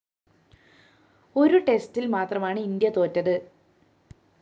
ഒരു ടെസ്റ്റില്‍ മാത്രമാണ് ഇന്ത്യ തോറ്റത്